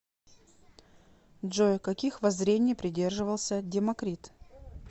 джой каких воззрений придерживался демокрит